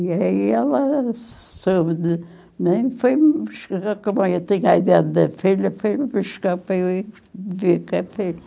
E aí ela soube de, né, e foi me buscar, como eu tinha a ideia da filha, foi buscar para eu ir viver com a filha...